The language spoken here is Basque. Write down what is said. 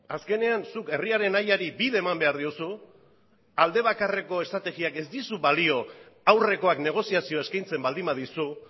azkenean zuk herriaren nahiari bide eman behar diozu aldebakarreko estrategiak ez dizu balio aurrekoak negoziazioa eskaintzen baldin badizu